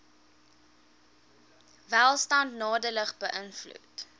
welstand nadelig beïnvloed